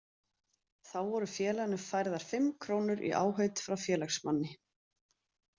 Þá voru félaginu færðar fimm krónur í áheit frá félagsmanni.